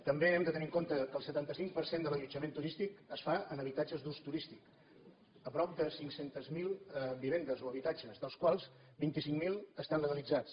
també hem de tenir en compte que el setanta cinc per cent de l’allotjament turístic es fa en habitatges d’ús turístic a prop de cinc cents miler vivendes o habitatges dels quals vint cinc mil estan legalitzats